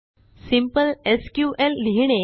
simple SQLलिहिणे